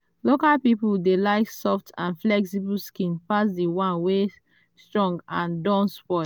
local people dey like soft and flexible skin pass the one wey strong and don spoil.